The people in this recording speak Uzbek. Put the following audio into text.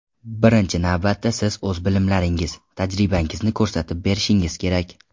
Birinchi navbatda siz o‘z bilimlaringiz, tajribangizni ko‘rsatib berishingiz kerak.